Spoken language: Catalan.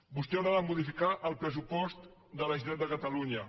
vostè haurà de modificar el pressupost de la generalitat de catalunya